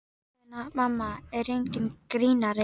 Ég meina, mamma er enginn grínari.